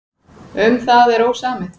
Um það er ósamið.